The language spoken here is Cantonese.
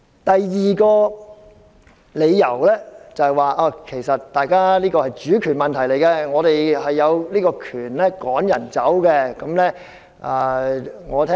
第二個理由是事件涉及主權問題，所以我們有權趕走某人。